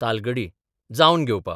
तालगडी जावन घेवपा.